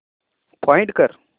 find कर